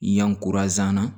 Yan na